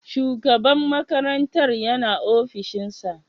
Shugaban makarantar yana ofishinsa?